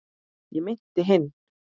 ég meinti hinn.